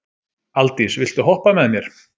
Aldís, viltu hoppa með mér?